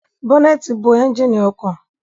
Bọnẹti bo ẹnjínì ọkọ